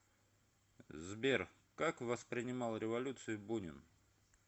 сбер как воспринимал революцию бунин